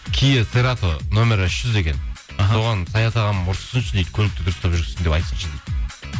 нөмірі үш жүз екен іхі соған саят ағам ұрыссыншы дейді көлікті дұрыстап жүргізсін деп айтсыншы дейді